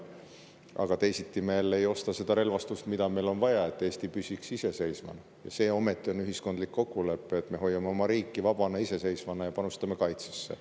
Aga teisiti me jälle ei ostaks seda relvastust, mida meil on vaja, et Eesti püsiks iseseisvana, ja see ometi on ühiskondlik kokkulepe, et me hoiame oma riigi vaba ja iseseisvana ning panustame kaitsesse.